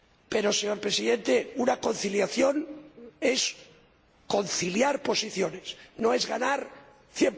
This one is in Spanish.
Pero, señor Presidente, una conciliación es conciliar posiciones, no es ganar al